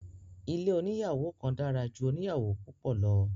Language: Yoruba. Ilé oníyàwò kan dára ju oníyàwò púpọ̀ lọ.